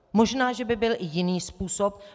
Možná že by byl i jiný způsob.